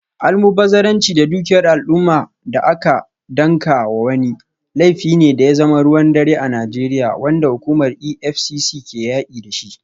Almubazzaranci da dukiyar al’umma da aka danka wa wani, laifi ne da ya zama ruwan dare a Najeriya, wanda hukumar EFCC ke yaki da shi.